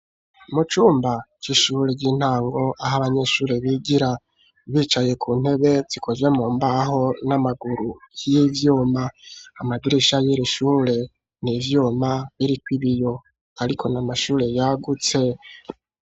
Mu cumba, c'ishure ry'intango, aho abanyeshure bigira; bicaye ku ntebe, zikozwe mu mbaho, n'amaguru y'ivyuma; amadirisha y'iri shure, ni ivyuma, biriko ibiyo, ariko ni amashure yagutse.